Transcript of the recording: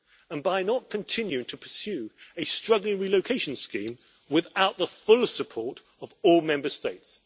and by not continuing to pursue a struggling relocation scheme without the full support of all Member States.